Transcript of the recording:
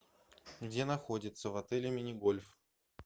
где находится в отеле мини гольф